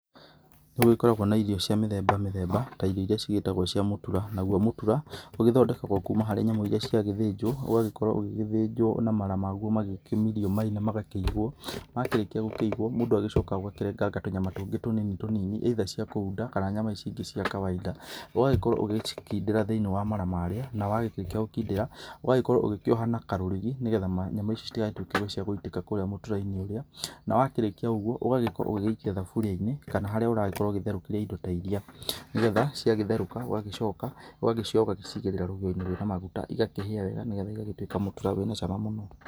Nĩ gũgĩkoragwo na irio cia mĩthemba mĩthemba ta irio iria cigĩtagwo cia mũtura. Naguo mũtura ũgĩthondekagwo kuma harĩ nyamũ iria ciagĩthĩnjwo, ũgagĩkorwo ũgĩgĩthĩnjwo na mara maguo magĩkĩmirio mai na magakĩigwo. Makĩrĩkia gũkĩigwo, mũndũ agĩcokaga ũgakĩrenganga tũnyama tũngĩ tũnini tũnini, either cia kũunda kana nyama ici ingĩ cia kawaida. Ũgagĩkorwo ũgĩgĩcikindĩra thĩ-inĩ wa mara marĩa na wakĩrĩkia gũkindĩra, ũgagĩkorwo ũgĩkioha na karũrigi nĩgetha nyama ici citigagĩtuĩke cia gũgĩitĩka kũrĩa mũtira-inĩ ũrĩa, na wakĩrĩkia ũguo, ũgagĩkorwo ũgĩgĩikia thaburia-inĩ kana harĩa ũragĩkorwo ũgĩtherũkĩria indo ta iria nĩgetha ũgagĩcoka, ciagĩtherũka ũgagĩcioya ũgagĩcigĩrĩra rũgĩo-inĩ rwĩna maguta iakĩhĩa wega nĩgetha igagĩtuĩka mũtura wĩna cama mũno.